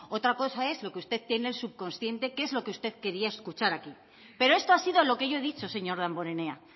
otra cosa es lo que usted tiene en su subconsciente que es lo que usted quería escuchar aquí pero esto ha sido lo que yo he dicho señor damborenea